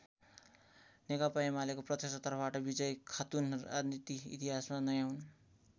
नेकपा एमालेको प्रत्यक्ष तर्फबाट विजयी खातुन राजनीति इतिहासमा नयाँ हुन्।